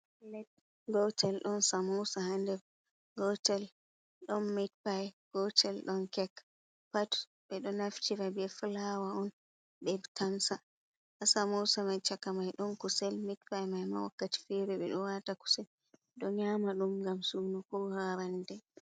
Plate gotel ɗon samosa ha nder gotel ɗon mitpai gotel don kek pat ɓeɗo naftira ɓe flawa on ɓe tamsa ha samosa chaka mai ɗon kusel mitpyi mai ma wakkati fere ɓeɗo wata kuse ɓeɗo nyama ɗum on ngam sunu ko ha rannde.